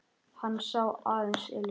Hann sá aðeins Elísu.